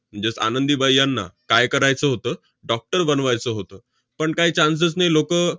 म्हणजेच आनंदीबाई यांना काय करायचं होतं? doctor बनवायचं होतं. पण काय chance च नाही. लोकं